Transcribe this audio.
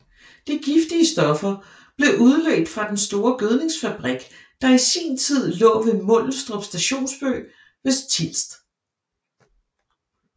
De giftige stoffer blev udledt fra den store gødningsfabrik der i sin tid lå ved Mundelstrup Stationsby ved Tilst